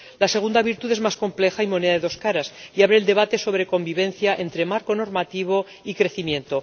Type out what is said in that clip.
La segunda virtud es más compleja y moneda de dos caras y abre el debate sobre convivencia entre marco normativo y crecimiento.